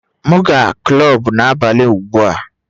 M na-aga kulub n'abalị ugbu a